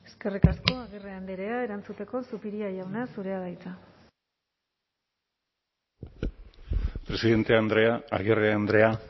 eskerrik asko agirre andrea erantzuteko zupiria jauna zurea da hitza presidente andrea agirre andrea